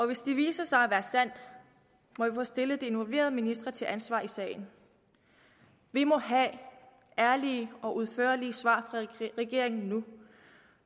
hvis det viser sig at være sandt må vi få stillet de involverede ministre til ansvar i sagen vi må have ærlige og udførlige svar fra regeringen nu